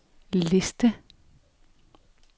liste